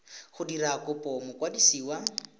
dira kopo go mokwadisi wa